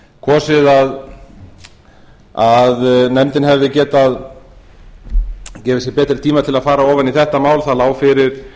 kosið að nefndin hefði getað gefið sér betri tíma til að fara ofan í þetta mál það lá fyrir